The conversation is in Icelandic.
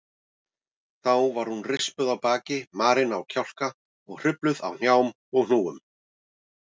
Þá var hún rispuð á baki, marin á kjálka og hrufluð á hnjám og hnúum.